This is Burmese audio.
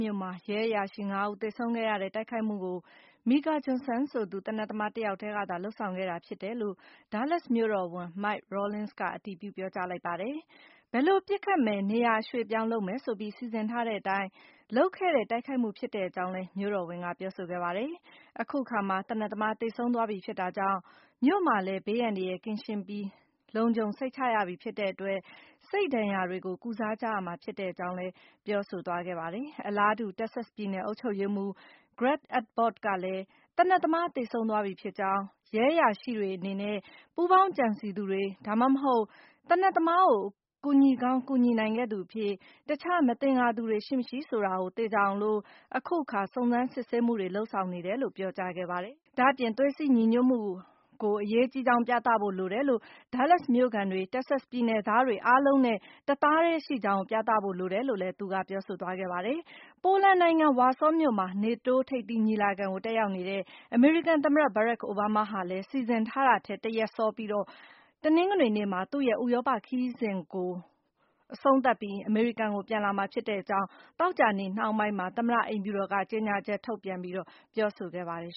မြို့မှာ ရဲအရာရှိ ၅ ဦး သေဆုံးခဲ့ရတဲ့ တိုက်ခိုက်မှုကို Micah Johnson ဆိုသူ သေနတ်သမား တယောက်တည်းကသာ လုပ်ဆောင်ခဲ့တာဖြစ်တယ်လို့ Dallas မြို့တော်ဝန် Mike Rawlings က အတည်ပြု ပြောကြားလိုက်ပါတယ်။ဘယ်လိုပစ်ခတ်မယ် နေရာ အရွှေ့အပြောင်းလုပ်မယ် ဆိုပြီး စီစဉ်ထားတဲ့အတိုင်း လုပ်ခဲ့တဲ့ တိုက်ခိုက်မှုဖြစ်တဲ့အကြောင်းလည်း မြို့တော်ဝန်က ပြောဆိုခဲ့တာပါ။ အခုအခါမှာ သေနတ်သမား သေဆုံးသွားပြီ ဖြစ်တာကြောင့် မြို့မှာလည်း ဘေးအန္တရာယ် ကင်းရှင်းပြီး လုံခြုံစိတ်ချရပြီ ဖြစ်တဲ့အတွက် စိတ်ဒဏ်ရာတွေကို ကုစားကြရမှာ ဖြစ်တဲ့အကြောင်းလည်း ပြောဆိုသွားခဲ့ပါတယ်။ အလားတူ Texas ပြည်နယ် အုပ်ချုပ်ရေးမှူး Greg Abbott ကလည်း သေနတ်သမား သေဆုံးသွားပြီဖြစ်ကြောင်း၊ ရဲအရာရှိတွေအနေနဲ့ ပူးပေါင်းကြံစည်သူတွေ ဒါမှမဟုတ် သေနတ်သမားကို ကူညီကောင်း ကူညီနိုင်ခဲ့သူအဖြစ် တခြားမသင်္ကာသူတွေ ရှိ မရှိ ဆိုတာကို သေချာအောင် အခုအခါ စုံစမ်းစစ်ဆေးမှုတွေ လုပ်ဆောင်နေတယ်လို့ ပြောကြားခဲ့ပါတယ်။ ဒါ့အပြင် သွေးစည်းညီညွတ်ဖို့ကို အရေးကြီးကြောင်း ပြသဖို့ လိုအပ်တယ် Dallas မြို့ခံတွေ၊ Texas ပြည်နယ်သားတွေအားလုံးနဲ့ တသားတည်း ရှိကြောင်းကို ပြသဖို့ လိုတယ်လို့လည်း သူက ပြောဆိုခဲ့ပါတယ်။ ပိုလန်နိုင်ငံ ဝါဆောမြို့မှာ နေတိုးထိပ်သီးညီလာခံကို တက်ရောက်နေတဲ့ အမေရိကန်သမ္မတ ဘရက်ခ် အိုဘားမား ဟာလည်း စီစဉ်ထားတာထက် တရက်စောပြီး တနင်္ဂနွေနေ့မှာ သူ့ရဲ့ဥရောပခရီးစဉ်ကို အမေရိကန် ကို ပြန်လာမှာဖြစ်တဲ့ အကြောင်း သောကြာနေ့နှောင်းပိုင်းမှာ သမ္မတအိမ်ဖြူတော်က ကြေညာချက်ထုတ်ပြန်ပြောဆိုခဲ့ပါတယ်